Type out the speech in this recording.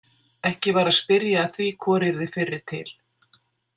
Ekki var að spyrja að því hvor yrði fyrri til.